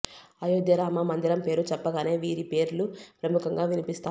అయోధ్య రామ మందిరం పేరు చెప్పగానే వీరి పేర్లు ప్రముఖంగా వినిపిస్తాయి